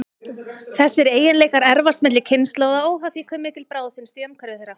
Þessir eiginleikar erfast milli kynslóða, óháð því hve mikil bráð finnst í umhverfi þeirra.